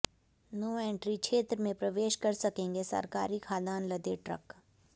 no entry क्षेत्र में प्रवेश कर सकेंगे सरकारी खाद्यान्न लदे ट्रक